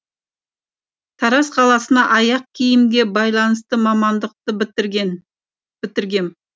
тараз қаласына аяқ киімге байланысты мамандықты бітіргем